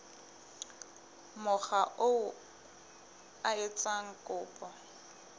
mokga oo a etsang kopo